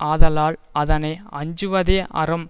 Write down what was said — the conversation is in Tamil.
ஆதலால் அதனை அஞ்சுவதே அறம்